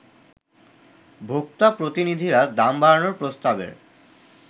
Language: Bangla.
ভোক্তা প্রতিনিধিরা দাম বাড়ানোর প্রস্তাবের